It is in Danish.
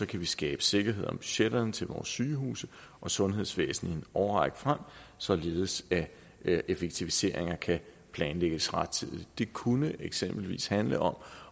kan vi skabe sikkerhed om budgetterne til vores sygehuse og sundhedsvæsenet i en årrække frem således at de effektiviseringer kan planlægges rettidigt det kunne eksempelvis handle om